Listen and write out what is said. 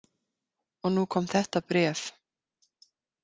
Og nú kom þetta bréf.